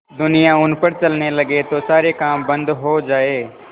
दुनिया उन पर चलने लगे तो सारे काम बन्द हो जाएँ